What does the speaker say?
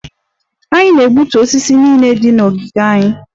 Anyị na-egbutu osisi niile dị na ogige anyị